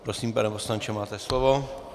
Prosím, pane poslanče, máte slovo.